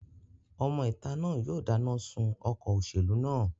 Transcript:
Ọmọ ìta náà yóò dáná sun ọkọ̀ òṣèlú náà